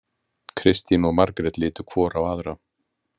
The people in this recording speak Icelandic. Kristín og Margét litu hvor á aðra.